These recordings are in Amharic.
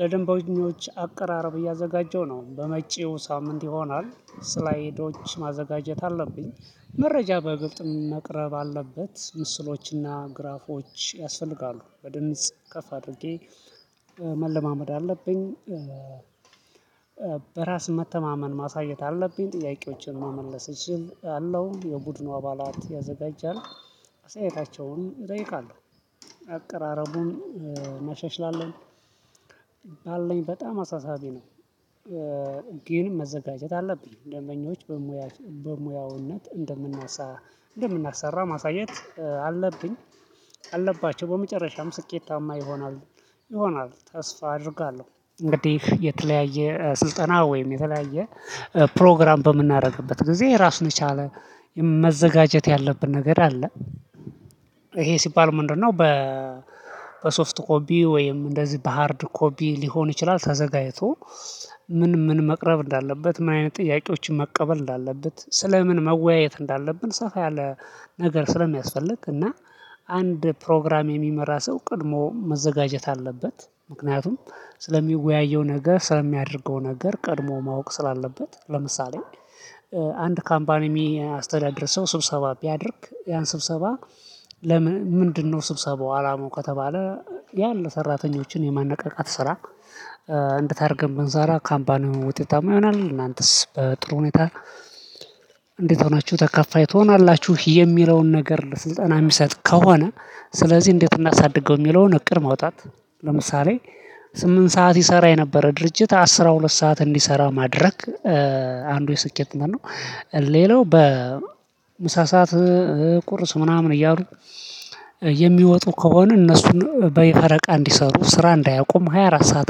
ለደንበኞች አቀራረብ እያዘጋጀው ነው በመጪው ሳምንት ይሆናል። ስላይዶች ማዘጋጀት አለብኝ። መረጃ በግልጽ መቅረብ አለበት ምስሎችና ግራፎች ያስፈልጋሉ በድምጽ ከፍ አድርጌ መለማመድ አለብኝ። በራስ መተማመን ማሳየት አለብኝ። ጥያቄዎችን መመለስ እችላለው የቡድኑ አባላት ያዘጋጃል አስተያየታቸውን እጠይቃለሁ አቅራረቡን እናሻሽላለን። አለኝ በጣም አሳሳቢ ነው። ግን መዘጋጀት አለብኝ ደንበኞች በሙያዊነት እንደምናሳ እንደምናሰራ ማሳየት አለብኝ። አለባቸው በመጨረሻም ስኬታማ ይሆናል። ይሆናል ተስፋ አደርጋለሁ እንግዲህ የተለያየ ስልጠና ወይም የተለያየ ፕሮግራም በምናደርግበት ጊዜ ራሱን የቻለ መዘጋጀት ያለብን ነገር አለ። ይሄ ሲባል ምንድነው? በሶፍት ኮፒ ወይም እንደዚህ በሃርድ ኮፒ ሊሆን ይችላል። ተዘጋጅቶ ምን ምን መቅረብ እንዳለበት ምን አይነት ጥያቄዎችን መቀበል እንዳለበት ስለ ምን መወያየት እንዳለብን ሰፋ ያለ ነገር ስለሚያስፈልግ። እና አንድ ፕሮግራም የሚመራ ሰው ቀድሞ መዘጋጀት አለበት። ምክንያቱም ስለሚወያየው ነገር ስለሚያደርገው ነገር ቀድሞ ማወቅ ስላለበት ለምሳሌ አንድ ካምፓኒ የሚያስተዳድር ሰው ስብሰባ ቢያደርግ ያን ስብሰባ ለምን ምንድነው ስብሰባው አላማው ከተባለ? ያን ለሰራተኞችን የማነቃቃት ስራ ብንሰራ ካምፓኑ ውጤታማ ይሆናል። እናንተስ በጥሩ ሁኔታ እንዴት ሆናችሁ ተከፋይ ትሆናላችሁ? የሚለውን ነገር በስልጠና የሚሰጥ ከሆነ ስለዚህ እንዴት እናሳድገው የሚለውን እቅድ ማውጣት። ለምሳሌ ስምንት ሰዓት ይሰራ የነበረ ድርጅት አስር ሁለት ሰዓት እንዲሰራ ማድረግ አንዱ የስኬትነት ነው። ሌላው በምሳ ሰዓት ቁርስ ምናምን እያሉ የሚወጡ ከሆነ እነሱን በየፈረቃ እንዲሰሩ ስራ እንዳያቁሙ ሃያ አራት ሰዓት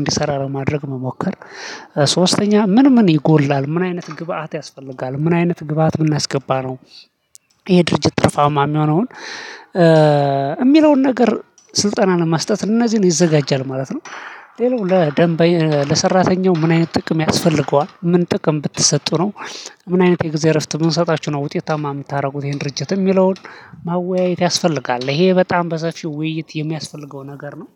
እንዲሰራ ለማድረግ መሞከር። ሶስተኛ ምን ምን ይጎድላል ምን አይነት ግብአት ያስፈልጋል ምን አይነት ግብአት ብምናስገባ ነው? ይሄ ድርጅት ትርፋማ የሚሆነውን የሚለውን ነገር ስልጠናን መስጠት እነዚህን ይዘጋጃል ማለት ነው። ሌላው ለሰራተኛው ምን አይነት ጥቅም ያስፈልገዋል? ምን ጥቅም ብትሰጡ ነው ምን አይነት የጊዜ እረፍት ብንሰጣችሁ ነው? ውጤታማ የምታደርጉት ይሄን ድርጅት የሚለውን ማወያየት ያስፈልጋል ይሄ በጣም በሰፊው ውይይት የሚያስፈልገው ነገር ነው።